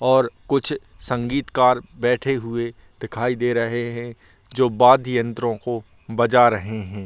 और कुछ संगीत कर बैठे हुए दिखाई दे रहे हैं जो वाद्य यंत्र को बजा रहे हैं।